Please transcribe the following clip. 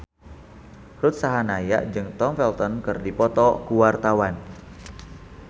Ruth Sahanaya jeung Tom Felton keur dipoto ku wartawan